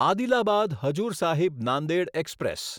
Adilabad Hazur Sahib Nanded express